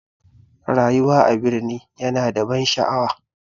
Rayuwar birni ya na da ban sha'awa